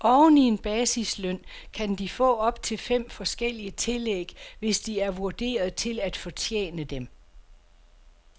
Oven i en basisløn kan de få op til fem forskellige tillæg, hvis de er vurderet til at fortjene dem.